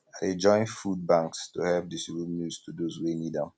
i dey join food banks to help distribute meals to those wey need am